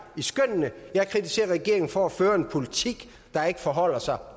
i skønnene jeg kritiserer regeringen for at føre en politik der ikke forholder sig